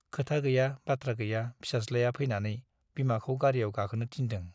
खोथा गैया , बाथ्रा गैया फिसाज्लाया फैनानै बिमाखौ गारीयाव गाखोनो थिनदों ।